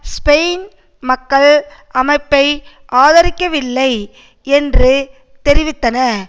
Spain மக்கள் அமைப்பை ஆதரிக்கவில்லை என்று தெரிவித்தன